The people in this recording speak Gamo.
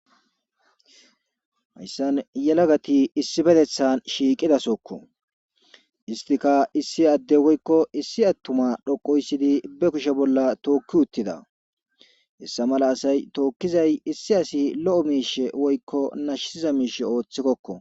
hayssan yelagati issi betethan shiiqidasokko istika issi adde woykko issi attuma dhoqoyssidi be kushe bolla tookki uttida hessa mala asay tookkizay issi asi lo7o miishe woykko nashiza miishe ooththikkokka.